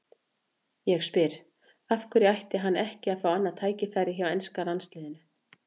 Ég spyr: Af hverju ætti hann ekki að fá annað tækifæri hjá enska landsliðinu?